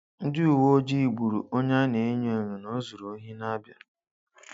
Ndị uwe ojii gburu onye a na-enyo enyo na o zuru ohi na Abia